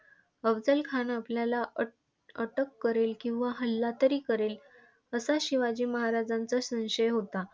अफझलखान आपल्याला अटअटक करेल किंवा हल्ला तरी करेल असा शिवाजी महाराजांचा संशय होता.